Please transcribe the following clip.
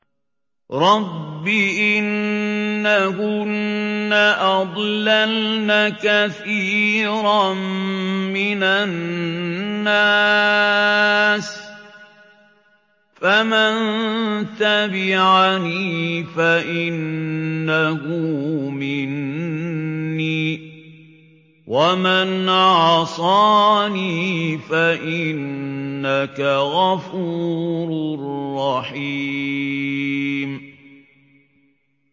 رَبِّ إِنَّهُنَّ أَضْلَلْنَ كَثِيرًا مِّنَ النَّاسِ ۖ فَمَن تَبِعَنِي فَإِنَّهُ مِنِّي ۖ وَمَنْ عَصَانِي فَإِنَّكَ غَفُورٌ رَّحِيمٌ